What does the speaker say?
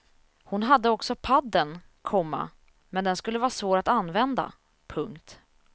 Hon hade också paddeln, komma men den skulle vara svår att använda. punkt